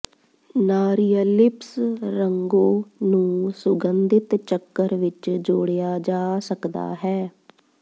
ਨਾਰੀਅਲਿਪਸ ਰੰਗੋ ਨੂੰ ਸੁਗੰਧਿਤ ਚੱਕਰ ਵਿੱਚ ਜੋੜਿਆ ਜਾ ਸਕਦਾ ਹੈ